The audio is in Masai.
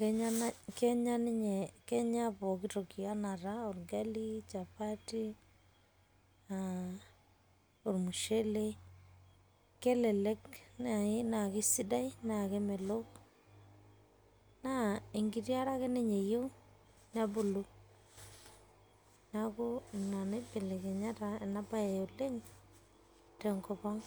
Kenyaa Kenya ninye pooki toki enaa taa Chapati oragali, ormushele kelelek naayi naa kesidai naa kemelok naa enkiti are ake ninye eyieu nebulu, neeku Ina naibelekenya taa ena baye oleng' tenkop ang'.